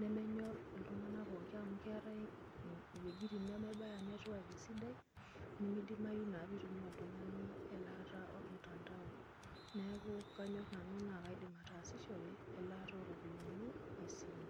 nemenyor ltunganak pookin amu keetai wuejitin nemebaya network esidai nemeidimayu na nintumia oltungani elaata ormutandao ,neaku kanyor nanu nakaidim ataasishore elaata oropiyani esimu.